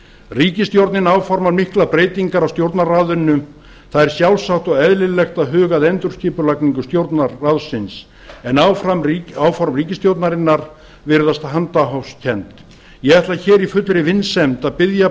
ríkisstjórnin áformar miklar breytingar á stjórnarráðinu það er sjálfsagt og eðlilegt að huga að endurskipulagningu stjórnarráðsins en áform ríkisstjórnarinnar virðast handahófskennd ég ætla hér í fullri vinsemd að biðja